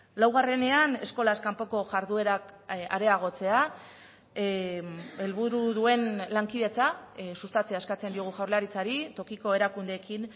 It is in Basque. laugarrenean eskolaz kanpoko jarduerak areagotzea helburu duen lankidetza sustatzea eskatzen diogu jaurlaritzari tokiko erakundeekin